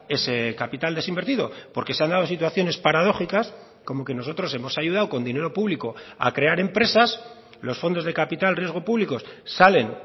ese capital desinvertido porque se han dado situaciones paradójicas como que nosotros hemos ayudado con dinero público a crear empresas los fondos de capital riesgo públicos salen